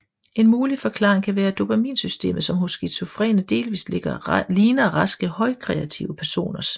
En mulig forklaring kan være dopaminsystemet som hos skizofrene delvist ligner raske højkreative personers